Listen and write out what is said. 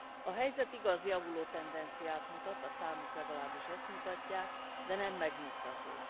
A helyzet, igaz, javuló tendenciát mutat, a számok legalábbis ezt mutatják, de nem megnyugtató.